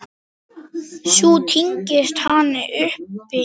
Sú tign hans stóð stutt.